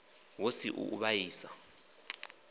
hu si u u vhaisa